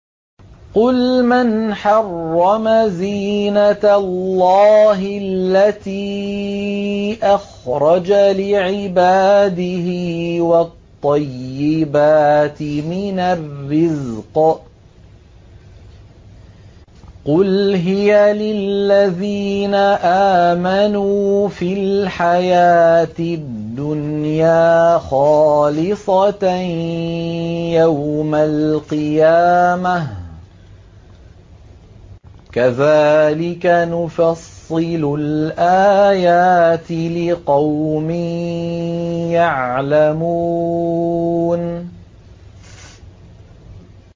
قُلْ مَنْ حَرَّمَ زِينَةَ اللَّهِ الَّتِي أَخْرَجَ لِعِبَادِهِ وَالطَّيِّبَاتِ مِنَ الرِّزْقِ ۚ قُلْ هِيَ لِلَّذِينَ آمَنُوا فِي الْحَيَاةِ الدُّنْيَا خَالِصَةً يَوْمَ الْقِيَامَةِ ۗ كَذَٰلِكَ نُفَصِّلُ الْآيَاتِ لِقَوْمٍ يَعْلَمُونَ